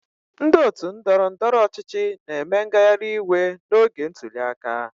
Ndị otu ndọrọndọrọ ọchịchị na-eme ngagharịiwe n'oge ntuli aka.